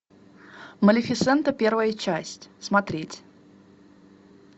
малефисента первая часть смотреть